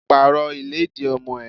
Pàrọ̀ ìlẹ́dì ọmọ ẹ!